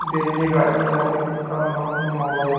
देखिएगा इससे यहां पे कितना मस्त माहौल दी--